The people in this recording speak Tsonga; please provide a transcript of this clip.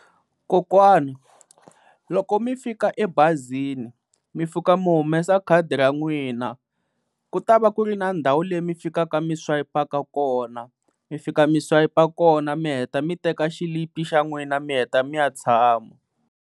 Kokwana loko mi fika emabazini mi fika mi humesa khadi ra n'wina ku ta va ku ri na ndhawu leyi mi fikaka mi swayipaka ka kona, mi fika mi swayipa kona mi heta mi teka xilipi xa n'wina mi heta mi ya tshama.